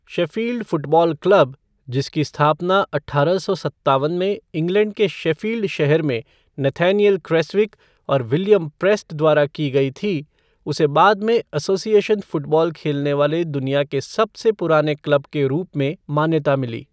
Sheffield football club, जिसकी स्थापना अठारह सौ सत्तवन में इंग्लैंड के शेफ़ील्ड शहर में नथानिएल क्रेसविक और विलियम प्रेस्ट द्वारा की गई थी, उसे बाद में एसोसिएशन फ़ुटबॉल खेलने वाले दुनिया के सबसे पुराने क्लब के रूप में मान्यता मिली।